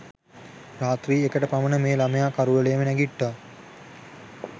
රාත්‍රී එකට පමණ මේ ළමයා කරුවලේම නැගිට්ටා.